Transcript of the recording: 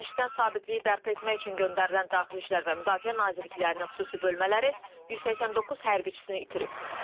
Dəməşqdən sabitliyi bərpa etmək üçün göndərilən daxili İşlər və Müdafiə Nazirliklərinin xüsusi bölmələri 189 hərbiçisini itirib.